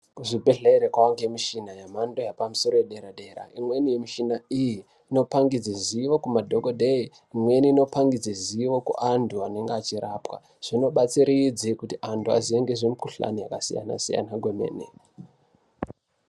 Kuzvibhedhlera kwaangemushina yemhando yederadera. Imweni yemushina iyi inopangidze zivo kumadhokodheya, imweni inopangidze zivo kuantu anenge achirapwa. Zvinobatsiridze kuti antu aziye ngezvemukhuhlani yakasiyana-siyana kwemene.